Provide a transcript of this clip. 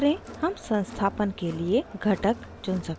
हम संस्थापन के लिए घटक components चुन सकते हैं